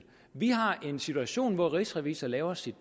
vi har en situation hvor rigsrevisor gør sit